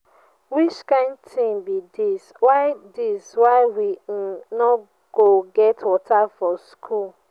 which kin thing be dis why dis why we um no go get water for school?